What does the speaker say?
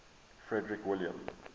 frederick william